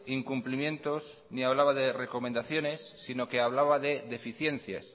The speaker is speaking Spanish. incumplimientos ni hablaba de recomendaciones sino que hablaba de deficiencias